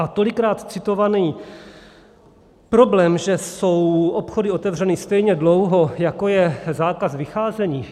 A tolikrát citovaný problém, že jsou obchody otevřeny stejně dlouho, jako je zákaz vycházení.